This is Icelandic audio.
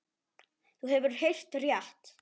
Þú hefur heyrt rétt.